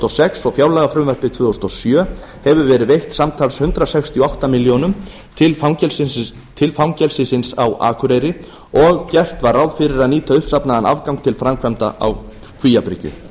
og sex og fjárlagafrumvarpi tvö þúsund og sjö hefur verið veitt samtals hundrað sextíu og átta ár til fangelsisins á akureyri og gert var ráð fyrir að nýta uppsafnaðan afgang til framkvæmda á kvíabryggju